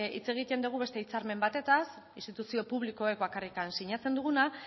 hitz egiten dugu beste hitzarmen batetaz instituzio publikoek bakarrik sinatzen duguna